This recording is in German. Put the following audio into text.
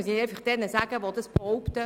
Ich frage diejenigen, die dies behaupten: